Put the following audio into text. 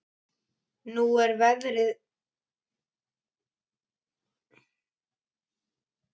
Nú er veðrið gengið niður og næturhiminninn lýsir upp landið.